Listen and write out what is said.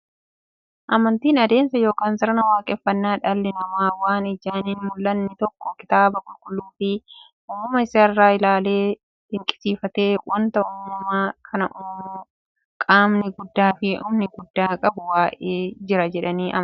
Amantiin adeemsa yookiin sirna waaqeffannaa dhalli namaa waan ijaan hinmullanne tokko kitaaba qulqulluufi uumama isaa isaa ilaaleefi dinqisiifatee, wanti uumama kana uumu qaamni guddaafi humna guddaa qabu wa'ii jira jedhanii amanuuti.